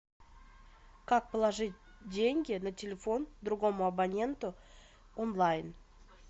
как положить деньги на телефон другому абоненту онлайн